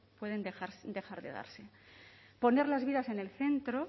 pueden dejar de darse poner las vías en el centro